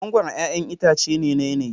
Mangoro 'ya'yan itace ne na yanayi.